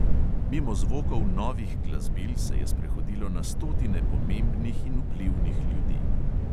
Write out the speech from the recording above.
Mimo zvokov novih glasbil se je sprehodilo na stotine pomembnih in vplivnih ljudi.